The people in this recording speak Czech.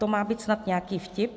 To má být snad nějaký vtip?